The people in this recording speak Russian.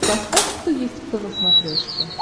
поставь кто есть кто на смотрешке